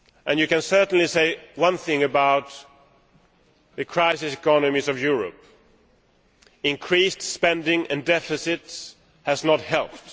You can certainly say one thing about the crisis economies in Europe increased spending and deficits have not helped.